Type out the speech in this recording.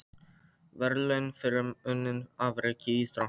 Verðlaun fyrir unnin afrek í íþróttum.